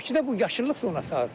Bakıda bu yaşıllıq zonası azdır.